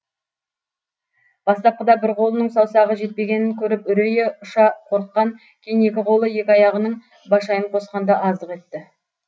бастапқыда бір қолының саусағы жетпегенін көріп үрейі ұша қорыққан кейін екі қолы екі аяғының башайын қосқанда аздық етті